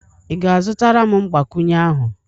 ị ga-azụtara m mgbakwunye ahụ?